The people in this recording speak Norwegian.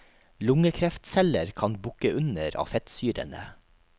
Lungekreftceller kan bukke under av fettsyrene.